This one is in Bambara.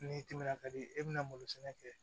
N'i timinan ka di e bɛna malo sɛnɛ kɛ